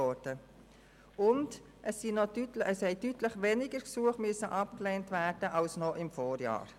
Es mussten deutlich weniger Gesuche abgelehnt werden als noch im Vorjahr.